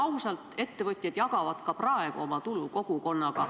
Kui aus olla, siis ettevõtjad jagavad ka praegu oma tulu kogukonnaga.